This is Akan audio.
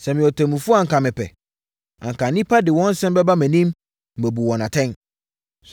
Sɛ meyɛ ɔtemmufoɔ anka mepɛ. Anka nnipa de wɔn nsɛm bɛba mʼanim, na mabu wɔn atɛn.”